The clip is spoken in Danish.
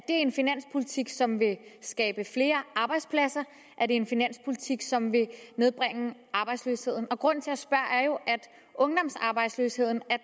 en finanspolitik som vil skabe flere arbejdspladser er det en finanspolitik som vil nedbringe arbejdsløsheden grunden til at ungdomsarbejdsløsheden